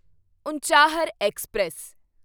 Unchahar express